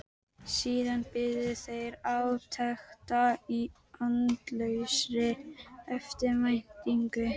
Síðan biðu þeir átekta í andlausri eftirvæntingu.